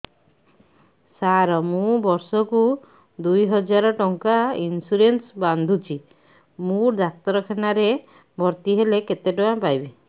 ସାର ମୁ ବର୍ଷ କୁ ଦୁଇ ହଜାର ଟଙ୍କା ଇନ୍ସୁରେନ୍ସ ବାନ୍ଧୁଛି ମୁ ଡାକ୍ତରଖାନା ରେ ଭର୍ତ୍ତିହେଲେ କେତେଟଙ୍କା ପାଇବି